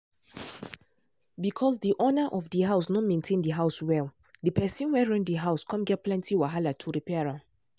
because de owner of house no maintain de house well de well de person wey rent de house come get plenty wahala to repair am.